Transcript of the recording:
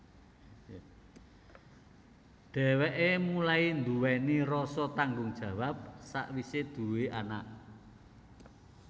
Dhewekè mulai nduwèni rasa tanggung jawab sakwise duwé anak